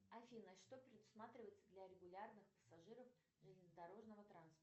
афина что предусматривается для регулярных пассажиров железнодорожного транспорта